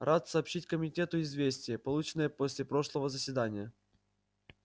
рад сообщить комитету известие полученное после прошлого заседания